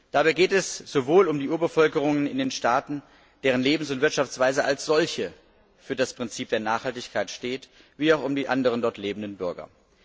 Dabei geht es sowohl um die Urbevölkerungen in den Staaten, deren Lebens und Wirtschaftsweise als solche für das Prinzip der Nachhaltigkeit steht, als auch um die anderen dort lebenden Bürger.